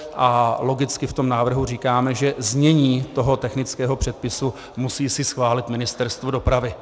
A logicky v tom návrhu říkáme, že znění toho technického předpisu musí si schválit Ministerstvo dopravy.